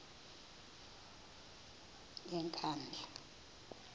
yenkandla